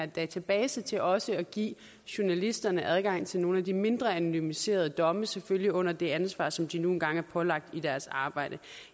databasen til også at give journalisterne adgang til nogle af de mindre anonymiserede domme selvfølgelig under det ansvar som de nu engang er pålagt i deres arbejde